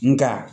Nga